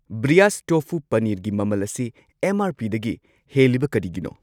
ꯕ꯭ꯔꯤꯌꯥꯁ ꯇꯣꯐꯨ ꯄꯅꯤꯔꯒꯤ ꯃꯃꯜ ꯑꯁꯤ ꯑꯦꯝ.ꯑꯥꯔ.ꯄꯤ.ꯗꯒꯤ ꯍꯦꯜꯂꯤꯕ ꯀꯔꯤꯒꯤꯅꯣ?